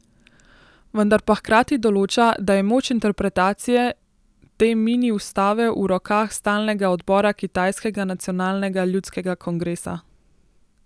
Vendar pa hkrati določa, da je moč interpretacije te mini ustave v rokah stalnega odbora kitajskega Nacionalnega ljudskega kongresa.